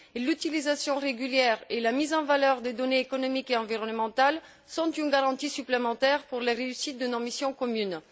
l'utilisation régulière et la mise en valeur des données économiques et environnementales sont une garantie supplémentaire pour la réussite de nos missions communes.